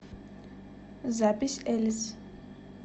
запись элис